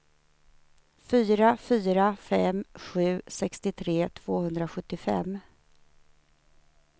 fyra fyra fem sju sextiotre tvåhundrasjuttiofem